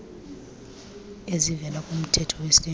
ezivela kumthetho wesintu